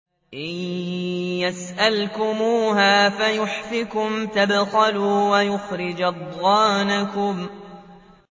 إِن يَسْأَلْكُمُوهَا فَيُحْفِكُمْ تَبْخَلُوا وَيُخْرِجْ أَضْغَانَكُمْ